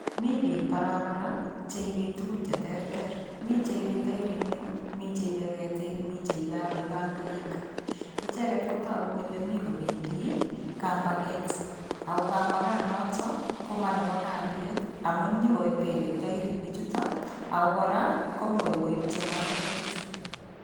Mii biik barabara cheibe tukun cheterter, mii cheibe taeroinik mii cheibe ketik, miten cheib akoib bangaik, icheket kotokuu kolee mii kobendi kambaket, ak ko kambakanoto ko monebo kaliet amun inyokobele tairinichuto ak ko kora komuch koib chemarket bichu.